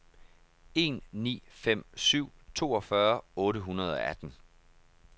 en ni fem syv toogfyrre otte hundrede og atten